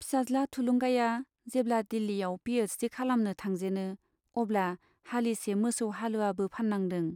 फिसाज्ला थुलुंगाया जेब्ला दिल्लीयाव पि एइस डि खालामनो थांजेनो अब्ला हालिसे मोसौ हालुवाबो फान्नांदों।